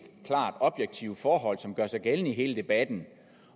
klart objektive forhold som gør sig gældende i hele debatten